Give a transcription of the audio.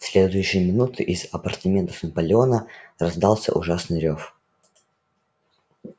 в следующую минуту из апартаментов наполеона раздался ужасный рёв